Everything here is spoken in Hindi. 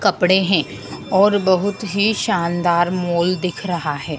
कपड़े हैं और बहुत ही शानदार मॉल दिख रहा है।